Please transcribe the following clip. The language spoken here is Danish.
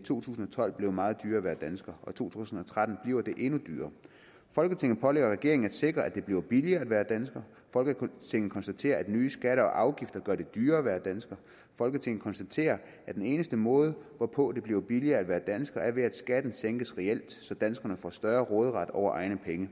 to tusind og tolv blevet meget dyrere at være dansker og i to tusind og tretten bliver det endnu dyrere folketinget pålægger regeringen at sikre at det bliver billigere at være dansker folketinget konstaterer at nye skatter og afgifter gør det dyrere at være dansker folketinget konstaterer at den eneste måde hvorpå det bliver billigere at være dansker er ved at skatten sænkes reelt så danskerne får større råderet over egne penge